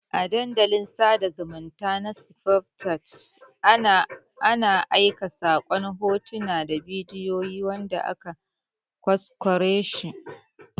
A Dandalin sada zumunta na snapchat ana aika sakon hotuna da bidiyoyi wanda aka ƘwasƘware shi